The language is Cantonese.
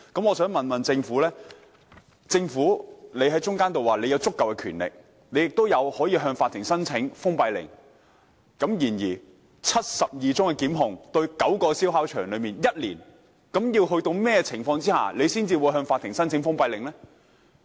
我想問政府，既然提到有足夠的權力採取行動，亦可以向法庭申請封閉令，而過去一年又對9個燒烤場提出了72宗檢控，究竟要在甚麼情況下才會向法庭申請封閉令呢？